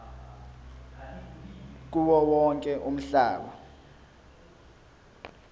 kuwo wonke umhlaba